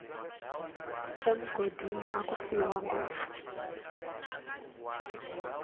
emugodini aku fiwa ngopfu